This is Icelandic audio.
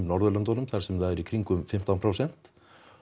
Norðurlöndunum þar sem það er í kringum fimmtán prósent